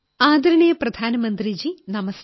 ആദരണീയ പ്രധാനമന്ത്രിജീ നമസ്തേ